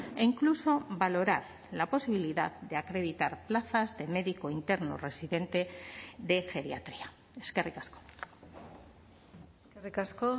e incluso valorar la posibilidad de acreditar plazas de médico interno residente de geriatría eskerrik asko eskerrik asko